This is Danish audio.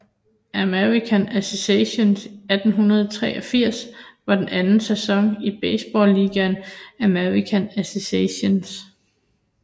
American Association 1883 var den anden sæson i baseballligaen American Association